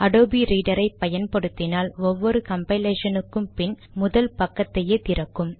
Adobe ரீடரை பயன்படுத்தினால் ஒவ்வொரு கம்பைலேஷனுக்கும் பின் முதல் பக்கத்தையே திறக்கும்